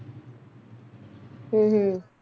ਹਮ ਹਮ